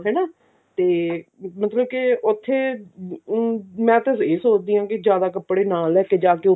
ਹਨਾ ਤੇ ਮਤਲਬ ਕਿ ਉੱਥੇ ਅਮ ਮੈਂ ਤਾ ਇਹ ਸੋਚਦੀ ਹਾਂ ਵੀ ਜਿਆਦਾ ਕੱਪੜੇ ਨਾ ਲੈਕੇ ਜਾਵੇ